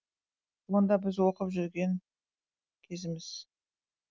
онда біз оқып жүрген кезіміз